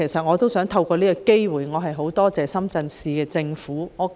我亦想藉此機會感謝深圳市人民政府。